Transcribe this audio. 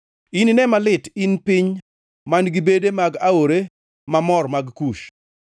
Inine malit in piny man-gi bede mag aore mamor mag Kush,